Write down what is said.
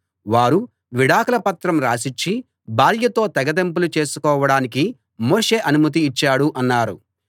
వారు విడాకుల పత్రం రాసిచ్చి భార్యతో తెగతెంపులు చేసుకోవడానికి మోషే అనుమతి ఇచ్చాడు అన్నారు